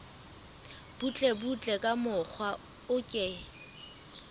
butlebutle ka mokgwa o ke